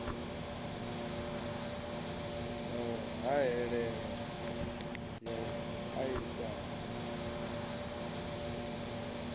na hahelelo ya u aisana